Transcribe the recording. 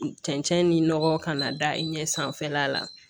Cɛncɛn ni nɔgɔ kana da i ɲɛ sanfɛla la